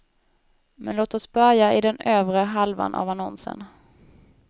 Men låt oss börja i den övre halvan av annonsen.